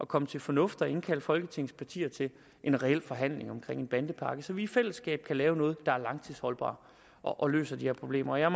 kommer til fornuft og indkalder folketingets partier til en reel forhandling om en bandepakke så vi i fællesskab kan lave noget der er langtidsholdbart og løser de her problemer jeg